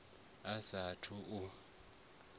a sa a thu u